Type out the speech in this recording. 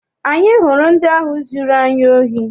Anyị hụrụ ndị ahụ zụrụ anyị ohi.